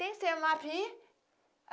Tem